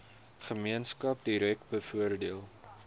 gemeenskap direk bevoordeel